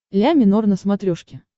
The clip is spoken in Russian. ля минор на смотрешке